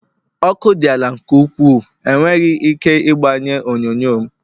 Ọkụ dị ala nke ukwuu enweghị ike igbanye onyonyo m